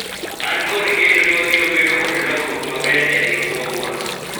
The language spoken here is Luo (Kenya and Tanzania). an kod geno ni wabiro bedo kod lokruok maber e riwruogwa